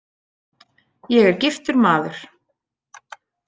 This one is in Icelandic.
Ég er giftur maður.